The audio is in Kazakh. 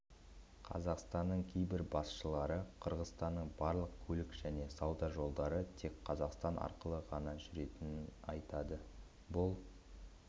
қазақстанның кейбір басшылары қырғызстанның барлық көлік және сауда жолдары тек қазақстан арқылы ғана жүретінін айтады бұл